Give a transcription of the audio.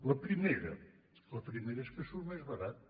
la primera la primera és que surt més barat